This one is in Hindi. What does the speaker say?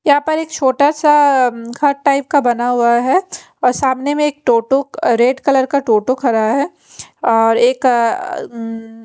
यहां पर एक छोटा सा घर टाइप का बना हुआ है और सामने एक टोटो अ रेड कलर का टोटो खड़ा है और एक अ उम्म --